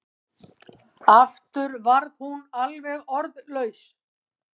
Aftur varð hún alveg orðlaus.